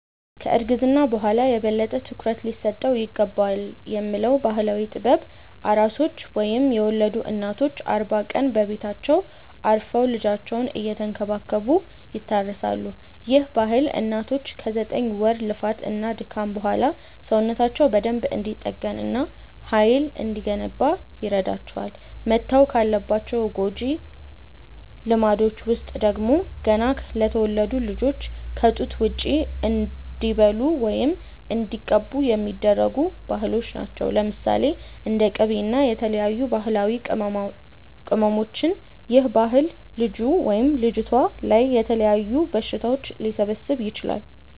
ከ እርግዝና በኋላ የበለጠ ትኩረት ሊሰጠው ይገባልብ የሚባለው ባህላዊ ጥበብ፤ ኣራሶች ወይም የወለዱ እናቶች አርባ ቀን በቤታቸው አርፈው ልጃቸውን እየተንከባከቡ ይታረሳሉ፤ ይህ ባህል እናቶች ከ ዘጠኝ ወር ልፋት እና ድካም በኋላ ሰውነታቸው በደንብ እንዲጠገን እና ሃይል እንዲገነባ ይረዳቸዋል። መተው ካለባቸው ጎጂ ልማዶች ውስጥ ደግሞ፤ ገና ለተወለዱት ልጆች ከ ጡት ውጪ እንዲበሉ ወይም እንዲቀቡ የሚደረጉ ባህሎች አሉ። ለምሳሌ፦ እንደ ቂቤ እና የተለያዩ ባህላዊ ቅመማቅመሞች ይህ ባህል ልጁ/ልጅቷ ላይ የተለያዩ በሽታዎች ሊሰበስብ ይችላል